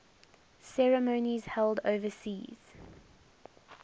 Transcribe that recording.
ceremonies held overseas